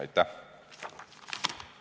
Aitäh!